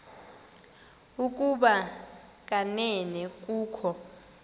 ukuba kanene kukho